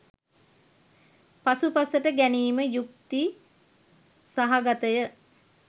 පසුපසට ගැනීම යුක්ති සහගතය.